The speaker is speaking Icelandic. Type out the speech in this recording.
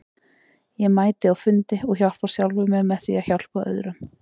Ég mæti á fundi og hjálpa sjálfum mér með því að hjálpa öðrum.